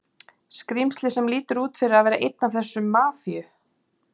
skrímsli sem lítur út fyrir að vera einn af þessum Mafíu